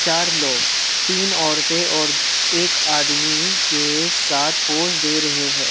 चार लोग तीन औरतें और एक आदमी के साथ पोज़ दे रहे हैं।